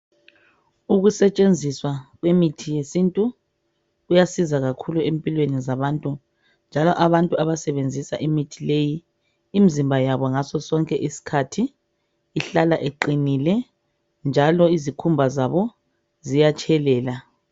Ukusetshenziswa kwemithi yesintu kuyasiza kakhulu empilweni zabantu njalo abantu abasebenzisa imithi leyi imzimba yabo ngasosonke isikhathi iqinile njalo izikhumba zabo ziyatshelela.